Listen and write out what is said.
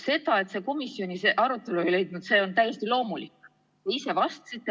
See, et see teema komisjonis arutelu ei leidnud, on täiesti loomulik.